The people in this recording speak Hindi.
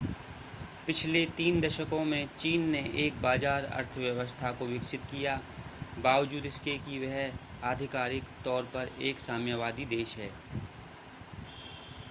पिछले तीन दशकों में चीन ने एक बाज़ार अर्थव्यवस्था को विकसित किया बावजूद इसके कि वह आधिकारिक तौर पर एक साम्यवादी देश है